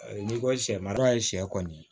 N'i ko sɛ mara ye sɛ kɔni